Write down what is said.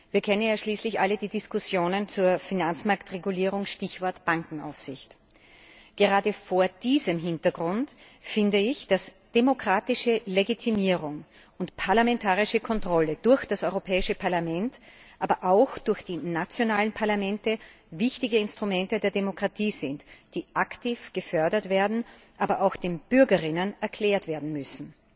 Wir kennen schließlich alle die Diskussionen zur Finanzmarktregulierung Stichwort Bankenaufsicht. Gerade vor diesem Hintergrund finde ich, dass demokratische Legitimierung und parlamentarische Kontrolle durch das Europäische Parlament, aber auch durch die nationalen Parlamente wichtige Instrumente der Demokratie sind, die aktiv gefördert werden, aber auch den Bürgern erklärt werden müssen.